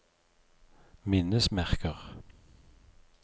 minnesmerker